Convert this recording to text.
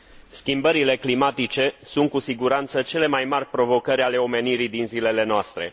Schimbările climatice sunt, cu siguranță, cele mai mari provocări ale omenirii din zilele noastre.